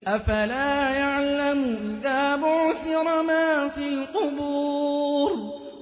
۞ أَفَلَا يَعْلَمُ إِذَا بُعْثِرَ مَا فِي الْقُبُورِ